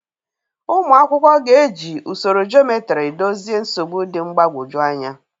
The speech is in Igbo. Ụmụ akwụkwọ ga-eji usoro geometry dozie nsogbu dị mgbagwoju anya.